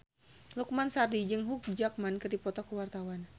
Lukman Sardi jeung Hugh Jackman keur dipoto ku wartawan